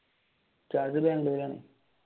ഇജാസ് ബാംഗ്ലൂർ ആണ്.